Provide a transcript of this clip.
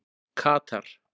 Katar